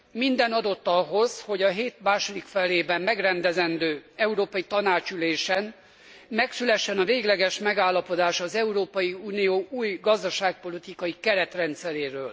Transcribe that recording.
Minden adott ahhoz, hogy a hét második felében megrendezendő európai tanácsi ülésen megszülessen a végleges megállapodás az Európai Unió új gazdaságpolitikai keretrendszeréről.